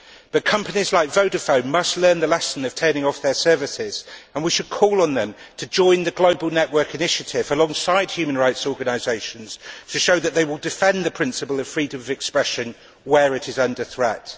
But companies like Vodafone must learn the lesson of turning off their services and we should call on them to join the global network initiative alongside human rights organisations to show that they will defend the principle of freedom of expression where it is under threat.